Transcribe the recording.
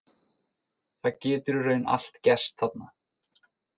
Það getur í raun allt gerst þarna.